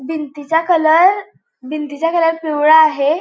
भिंतीचा कलर भिंतीचा कलर पिवळा आहे.